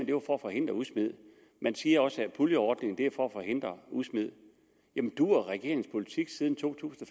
det var for at forhindre udsmid man siger også at puljeordningen er til for at forhindre udsmid duer regeringens politik siden to tusind